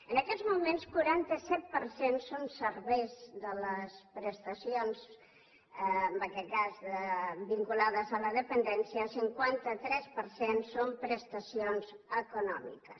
en aquests moments quaranta set per cent són serveis de les prestacions en aquest cas vinculades a la dependència i cinquanta tres per cent són prestacions econòmiques